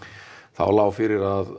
þá lá fyrir að